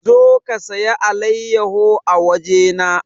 Zo ki saya alayyaho a waje na!